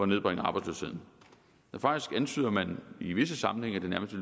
nedbringe arbejdsløsheden ja faktisk antyder man i visse sammenhænge at det nærmest